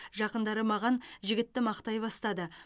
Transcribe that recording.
жақындары маған жігітті мақтай бастады